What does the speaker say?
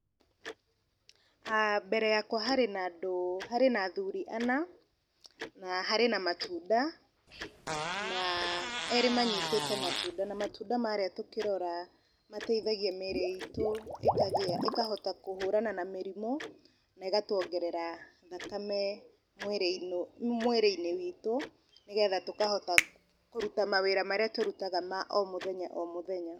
ah mbere yakwa harĩ na andũ, harĩ na athuri ana, na harĩ na matunda na erĩ manyitĩte matunda na matunda marĩa tũkĩrora mateithagia mĩĩrĩ itũ ĩkahota kũhũrana na mĩrimũ, na ĩgatwongerera thakame mwĩrĩ-inĩ mwĩrĩ-inĩ witũ nĩgetha tũkahota kũruta mawĩra marĩa tũrutaga ma o mũthenye o mũthenya.